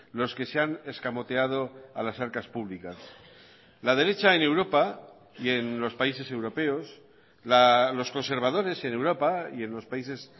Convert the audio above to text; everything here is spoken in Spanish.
los que se han escamoteado a las arcas públicas la derecha en europa y en los países europeos los conservadores en europa y en los países